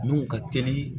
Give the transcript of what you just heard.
Nun ka teli